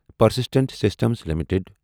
Persistent systems limited